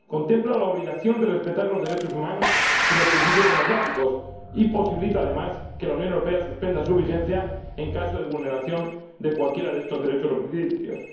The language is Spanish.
Contempla la obligación de respetar los derechos humanos y los principios democráticos y posibilita, además, que la Unión Europea suspenda su vigencia en caso de vulneración de cualquiera de estos derechos o principios.